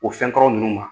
O fɛn kɔrɔ ninnu ma